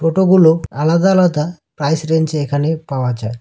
টোটোগুলো আলাদা আলাদা প্রাইস রেঞ্জে এখনে পাওয়া যায়।